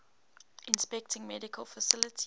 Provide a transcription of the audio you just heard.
inspecting medical facilities